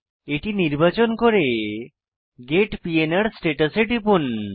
এটি নির্বাচন করে গেট পিএনআর স্ট্যাটাস এ টিপুন